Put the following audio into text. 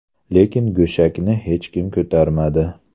Lekin go‘shakni hech kim ko‘tarmadi.